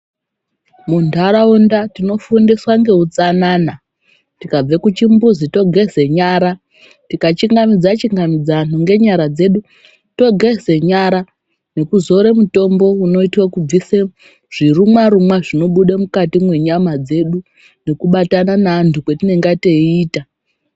Muntharaunda tinofundiswa ngeutsanana. Tikabve kuchimbuzi togeze nyara, tikachingamidza chingamidza anthu ngenyara dzedu, togeze nyara, nekuzore mutombo unoite kubvise zvirumwa rumwa zvinobude mukati mwenyama dzedu, nekubatana neanthu kwetinenga teiita.